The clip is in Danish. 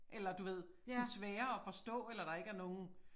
Eller du ved sådan svære at forstå eller der ikke er nogen